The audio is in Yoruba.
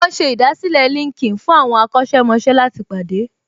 Wọ́n ṣe ìdásílẹ̀ LinkedIn fún àwọn akọ́ṣẹ́mọṣẹ́ láti pàdé